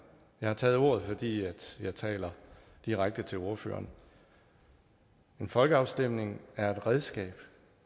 jeg har taget ordet fordi jeg taler direkte til ordføreren at en folkeafstemning er et redskab